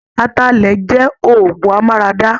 Ataalẹ̀ jẹ́ òọgùn amáradá.